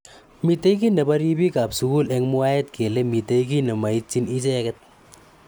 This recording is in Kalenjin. Mitei ki nebo ribik ab sukul eng mwaet kele mitei ki nemaityin icheket.